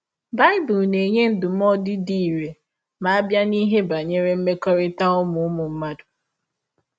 Bible na - enye ndụmọdụ dị irè ma a bịa n’ihe banyere mmekọrịta ụmụ ụmụ mmadụ.